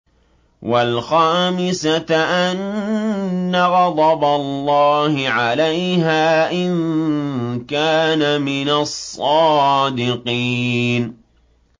وَالْخَامِسَةَ أَنَّ غَضَبَ اللَّهِ عَلَيْهَا إِن كَانَ مِنَ الصَّادِقِينَ